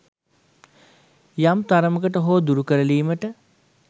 යම් තරමකට හෝ දුරු කරලීමට